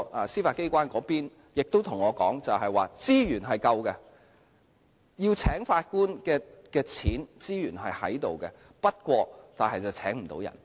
司法機關方面亦告訴我，資源是足夠的，聘請法官的款項和資源是存在的，但卻聘請不到人員。